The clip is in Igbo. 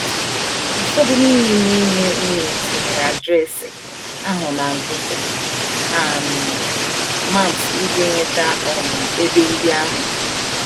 Ụfọdụ n’ime n’ime unu tinye adreesị ahụ na Google um Maps iji nweta um ebe ndị ahụ.